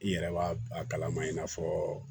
I yɛrɛ b'a a kalama i n'a fɔɔ